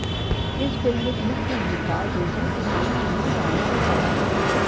ਇਸ ਫਿਲਮ ਵਿਚ ਮੁੱਖ ਭੂਮਿਕਾ ਦਿਲਜੀਤ ਦੋਸਾਂਝ ਤੇ ਨੀਰੂ ਬਾਜਵਾ ਨਿਭਾ ਰਹੇ ਹਨ